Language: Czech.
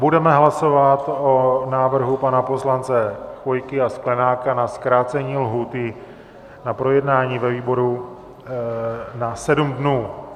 Budeme hlasovat o návrhu pana poslance Chvojky a Sklenáka na zkrácení lhůty na projednání ve výboru na sedm dnů.